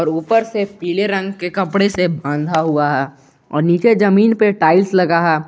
और ऊपर से पीले रंग के कपड़े से बांधा हुआ है और नीचे जमीन पे टाइल्स लगा है।